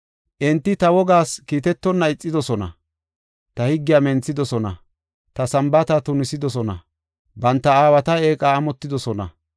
Enti ta wogas kiitetonna ixidosona; ta higgiya menthidosona; ta Sambaata tunisidosona; banta aawata eeqa amotidosona.